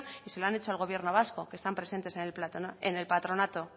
y se lo han hecho al gobierno vasco que están presentes en el patronato